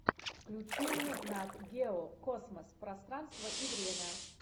включи мне нат гео космос пространство и время